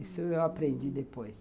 Isso eu aprendi depois.